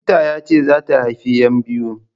Likita yace zata haifi yan biyu